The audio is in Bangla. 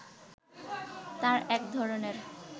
তার একধরনের